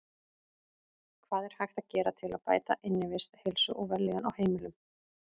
Hvað er hægt að gera til að bæta innivist, heilsu og vellíðan á heimilum?